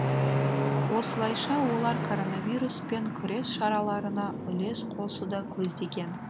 осылайша олар коронавируспен күрес шараларына үлес қосуды көздеген